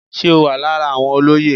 Ṣé o wà lára àwọn olóyè.